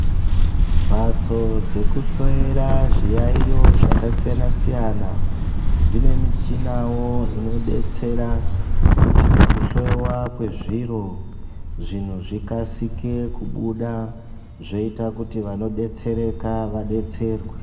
Mhatso dzekuhloyera zviyaiyo zvakasiyana siyana dzine michinawo inodetsera kuti pakuhloyiwa kwezviro zvinhu zvikasike kubuda zvoita kuti vanodetsereka vadetserwe.